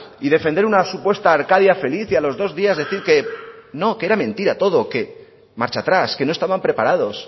y defender una supuesta arcadia feliz y a los dos días decir que no que era mentira todo que marcha atrás que no estaban preparados